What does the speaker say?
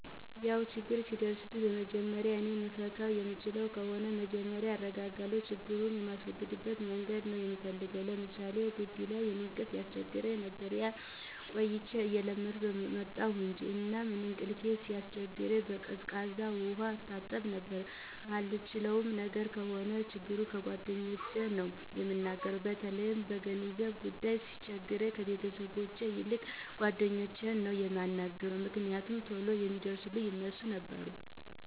ያው ችግር ሲደርስብኝ በመጀመሪያ እኔ መፍታት የምችለው ከሆነ መጀመሪያ እረጋጋና ችግሩን የማስወግድበት መንገድ ነው ምፈልገው። ለምሳሌ ጊቢ ላይ እንቅልፍ ያስቸግረኝ ነበር። ያው ቆይቼ እየለመድሁት መጣሁ እንጅ። እና እንቅልፌ ሲያስቸግረኝ በቀዝቃዛ ውሀ እታጠብ ነበረ። ማልችለው ነገር ከሆነ ችግሩን ለጓደኞቼ ነው እምናገር። በተለይ በገንዘብ ጉዳይ ሲቸግረኝ ከቤተሰቦቼ ይልቅ ለጓደኞቼ ነው ምናገረው። ምክንያቱም ቶሎ ሚደርሱልኝ እነርሱ ነበሩ።